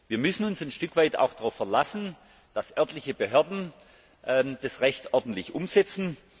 Wir müssen uns auch ein Stück weit darauf verlassen, dass örtliche Behörden das Recht ordentlich umsetzen.